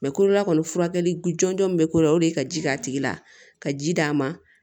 kolola kɔni furakɛli jɔnjɔn min be ko la o de ye ka ji k'a tigi la ka ji d'a ma